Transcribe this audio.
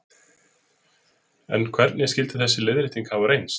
En hvernig skyldi þessi leiðrétting hafa reynst?